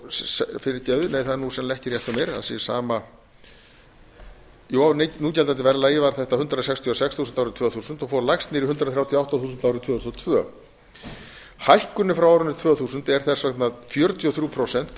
fyrirgefiði það er nú ekki rétt hjá mér að sé sama jú á núgildandi verðlagi var þetta hundrað sextíu og sex þúsund árið tvö þúsund og fór lægst niður í hundrað þrjátíu og átta þúsund árið tvö þúsund og tvö hækkunin frá árinu tvö þúsund er þess vegna fjörutíu og þrjú prósent